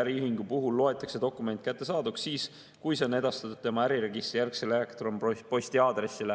äriühingu puhul loetakse dokument kättesaaduks siis, kui see on edastatud tema äriregistrijärgsele elektronposti aadressile.